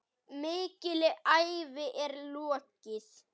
Mikilli ævi er lokið.